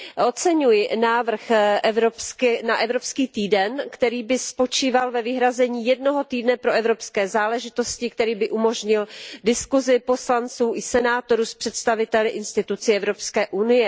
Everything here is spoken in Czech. Oceňuji návrh na evropský týden, který by spočíval ve vyhrazení jednoho týdne pro evropské záležitosti, který by umožnil diskusi poslanců i senátorů s představiteli institucí EU.